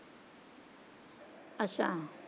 ਅੱਛਾ।